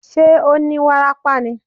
Ṣé ó ní wárápá ni?